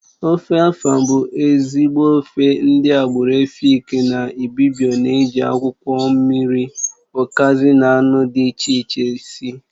Ofe afàn bụ ezigbo ofe ndị agbụrụ Èfik na Ị́bịbio ana-eji akwụkwọ mmiri, ukazi na anụ dị iche iche esi